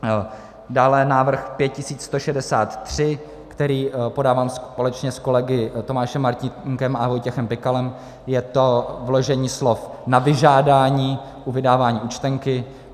Dále návrh 5163, který podávám společně s kolegy Tomášem Martínkem a Vojtěchem Pikalem, je to vložení slov "na vyžádání" u vydávání účtenky.